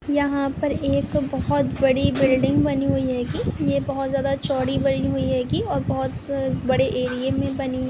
यहाँ पर एक बहुत बड़ी बिल्डिंग बनी हुई हेगी ये बहुत ज्यादा चौड़ी बनी हुई हेगी और बहुत बड़े एरिए मैं बनी है।